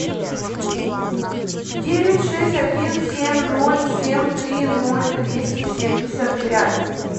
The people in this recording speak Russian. девять шесть один семь ноль семь три ноль двести семьдесят пять